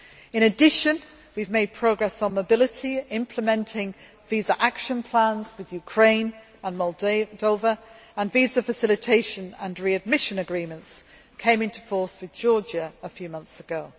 In addition, we have made progress on mobility, implementing visa action plans with Ukraine and Moldova, and visa facilitation and readmission agreements came into force with Georgia a few months ago.